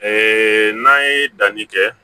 Ee n'an ye danni kɛ